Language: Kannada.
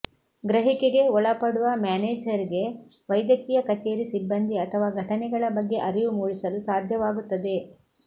ಗ್ರಹಿಕೆಗೆ ಒಳಪಡುವ ಮ್ಯಾನೇಜರ್ಗೆ ವೈದ್ಯಕೀಯ ಕಚೇರಿ ಸಿಬ್ಬಂದಿ ಅಥವಾ ಘಟನೆಗಳ ಬಗ್ಗೆ ಅರಿವು ಮೂಡಿಸಲು ಸಾಧ್ಯವಾಗುತ್ತದೆ